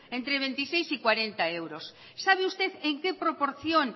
entre veintiséis y cuarenta euros sabe usted en qué proporción